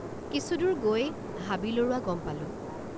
কিছুদূৰ গৈ হাবি লৰোৱা গম পালোঁ।